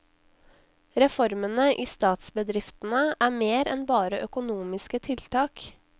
Reformene i statsbedriftene er mer enn bare økonomiske tiltak.